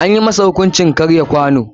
Anyi masa hukuncin karya kwano.